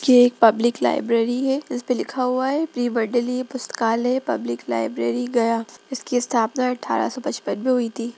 ये एक public library है जिसपे लिखा हुआ है प्री मंडलीय पुस्तकालय पब्लिक लाइब्रेरी गया इसकी स्थापना अठारह सौ पचपन में हुई थी।